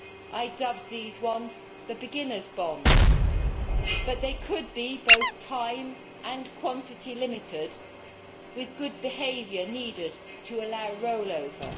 I dubbed these once the beginner's bond', but they could be both time and quantity limited, with good behaviour needed to allow rollover.